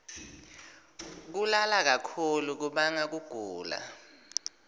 kulala kakhulu kubanga kugula